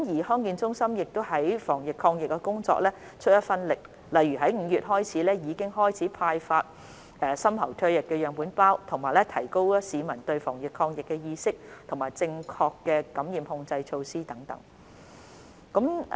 康健中心亦為防疫抗疫工作出一分力，例如由去年5月開始已派發深喉唾液樣本收集包，並提高市民的防疫意識和宣傳正確的感染控制措施等。